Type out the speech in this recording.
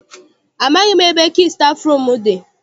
Amaghị m ebe kii stafụrum dị.